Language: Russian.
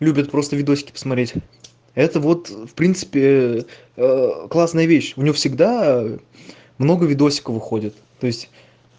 любит просто видюшки посмотреть это вот в принципе классная вещь у неё всегда много видосиков выходит то есть